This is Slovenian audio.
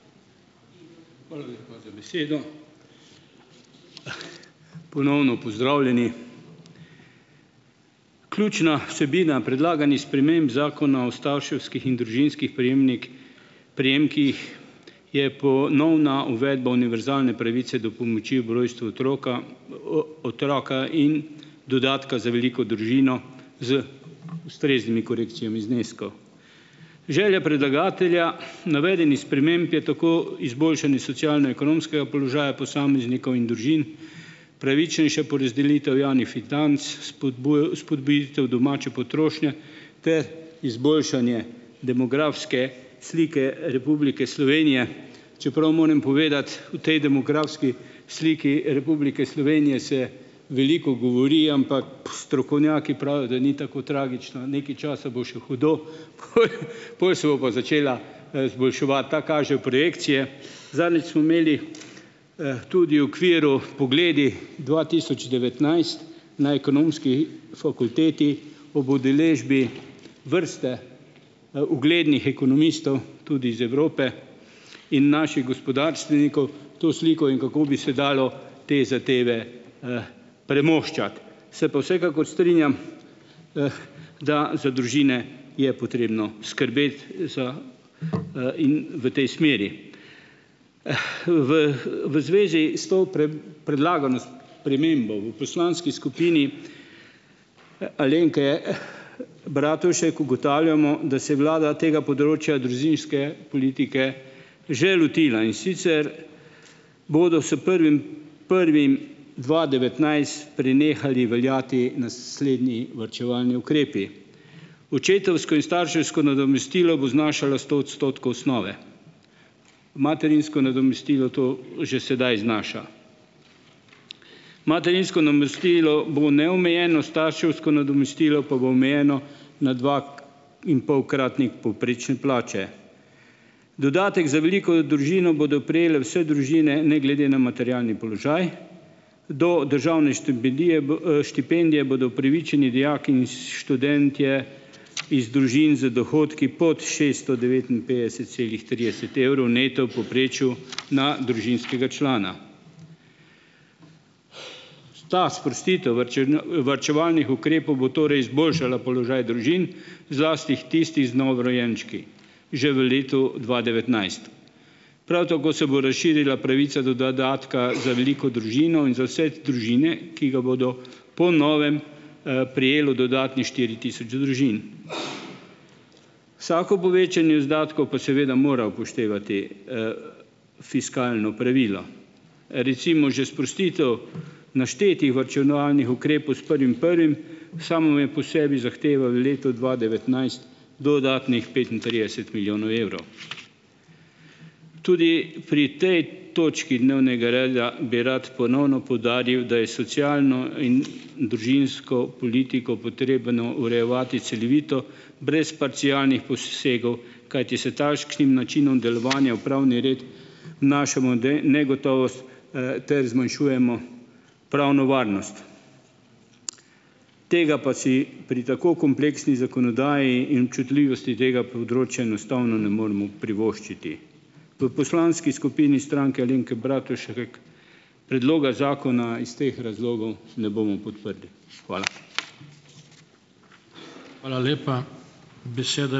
Hvala lepa za besedo. Ponovno pozdravljeni! Ključna vsebina predlaganih sprememb Zakona o starševskih in družinskih prejemnik prejemkih je ponovna uvedba univerzalne pravice do pomoči ob rojstvu otroka otroka in dodatka za veliko družino z ustreznimi korekcijami zneskov. Želja predlagatelja navedenih sprememb je tako izboljšanje socialno-ekonomskega položaja posameznikov in družin, pravičnejša porazdelitev javnih financ, spodbuditev domače potrošnje ter izboljšanje demografske slike Republike Slovenije, čeprav moram povedati, o tej demografski sliki Republike Slovenije se veliko govori, ampak, strokovnjaki pravijo, da ni tako tragično, nekaj časa bo še hudo, poj poj se bo pa začela, izboljševati, tako kažejo projekcije. Zadnjič smo imeli, tudi v okviru Pogledi dva tisoč devetnajst na Ekonomski fakulteti ob udeležbi vrste, uglednih ekonomistov tudi iz Evrope in naših gospodarstvenikov to sliko, in kako bi se dalo te zadeve, premoščati; se pa vsekakor strinjam, da za družine je potrebno skrbeti za, in v tej smeri. V, v zvezi s to predlagano spremembo v poslanski skupini, Alenke, Bratušek ugotavljamo, da se je vlada tega področja družinske politike že lotila, in sicer bodo s prvim prvim dva devetnajst prenehali veljati naslednji varčevalni ukrepi: očetovsko in starševsko nadomestilo bo znašalo sto odstotkov osnove, materinsko nadomestilo, to že sedaj znaša; materinsko namestilo bo neomejeno, starševsko nadomestilo pa bo omejeno na dva- -inpolkratnik povprečne plače; dodatek za veliko družino bodo prejele vse družine ne glede na materialni položaj; do državne štipendije štipendije bodo upravičeni dijaki in študentje iz družin z dohodki pod šesto devetinpetdeset celih trideset evrov neto v povprečju na družinskega člana. Ta sprostitev varčevalnih ukrepov bo torej izboljšala položaj družin, zlasti tisti z novorojenčki, že v letu dva devetnajst. Prav tako se bo razširila pravica do dodatka za veliko družino in za vse družine, ki ga bo po novem, prejelo dodatnih štiri tisoč družin. Vsako povečanje izdatkov pa seveda mora upoštevati, fiskalno pravilo. Recimo, že sprostitev naštetih varčevalnih ukrepov s prvim prvim samo po sebi zahteva v letu dva devetnajst dodatnih petintrideset milijonov evrov. Tudi pri tej točki dnevnega reda bi rad ponovno poudaril, da je socialno in, družinsko politiko potrebno urejevati celovito, brez parcialnih posegov, kajti s takšnim načinom delovanja v pravni red vnašamo negotovost, ter zmanjšujemo pravno varnost; tega pa si pri tako kompleksni zakonodaji in občutljivosti tega področja enostavno ne moremo privoščiti. V poslanski skupini Stranke Alenke Bratušek predloga zakona iz teh razlogov ne bomo podprli. Hvala.